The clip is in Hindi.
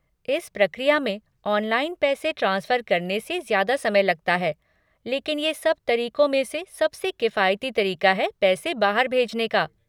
इस प्रक्रिया में ऑनलाइन पैसे ट्रांसफ़र करने से ज़्यादा समय लगता है लेकिन ये सब तरीक़ों में से सबसे किफ़ायती तरीका है पैसे बाहर भेजने का।